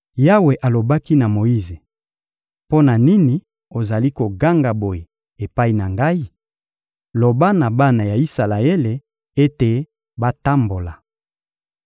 Yawe alobaki na Moyize: — Mpo na nini ozali koganga boye epai na Ngai? Loba na bana ya Isalaele ete batambola.